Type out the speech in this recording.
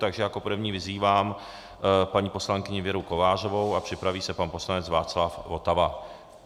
Takže jako první vyzývám paní poslankyni Věru Kovářovou a připraví se pan poslanec Václav Votava.